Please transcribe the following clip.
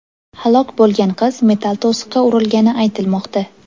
Halok bo‘lgan qiz metall to‘siqqa urilgani aytilmoqda.